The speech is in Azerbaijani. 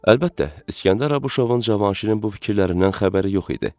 Əlbəttə, İskəndər Abuşovun Cavanşirin bu fikirlərindən xəbəri yox idi.